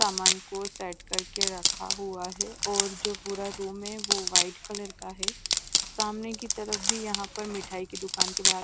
सामान को सेट करके रखा हुआ है और जो पूरा रूम है वो व्हाईट कलर का है सामने की तरफ भी यहाँ पर मिठाई की दुकान के बाहर--